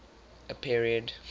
a period